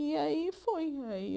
E aí foi. Aí